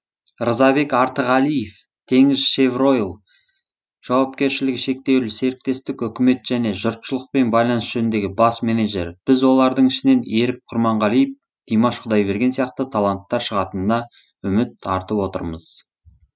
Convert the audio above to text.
рзабек артығалиев теңізшевройл жаупкершілігі шектеулі серіктестік үкімет және жұртшылықпен байланыс жөніндегі бас менеджері біз олардың ішінен ерік құрманғалиев димаш құдайберген сияқты таланттар шығатынына үміт артып отырмыз